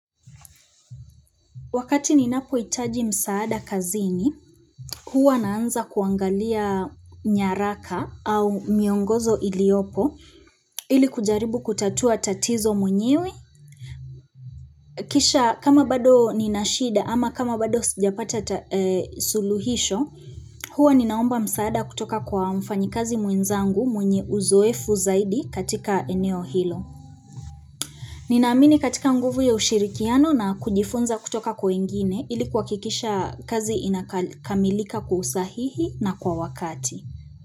Wakati ninapo hitaji msaada kazini huwa naanza kuangalia nyaraka au miongozo iliopo ili kujaribu kutatua tatizo mwenyewe Kisha kama bado nina shida ama kama bado sijapata suluhisho huwa ninaomba msaada kutoka kwa mfanyikazi mwenzangu mwenye uzoefu zaidi katika eneo hilo Ninaamini katika nguvu ya ushirikiano na kujifunza kutoka kwa wengine ili kuhakikisha kazi inakamilika kwa usahihi na kwa wakati.